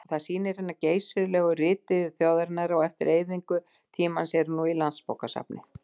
En það sýnir hina geysilegu ritiðju þjóðarinnar að eftir eyðingu tímans eru nú í Landsbókasafni